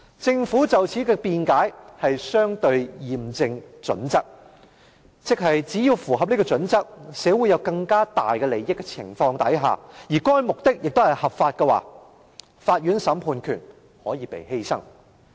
政府對此的辯解是"相稱驗證準則"，即只要符合這準則，對社會有更大利益的情況下，而該目的又合法的話，法院審判權可以被犧牲。